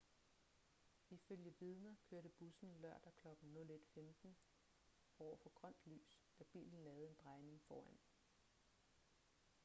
ifølge vidner kørte bussen lørdag klokken 01:15 over for grønt lys da bilen lavede en drejning foran den